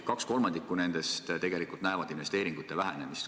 Kaks kolmandikku nendest näevad investeeringute vähenemist.